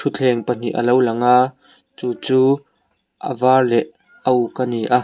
thutthleng pahnih a lo lang a chu chu a var leh a uk a ni a.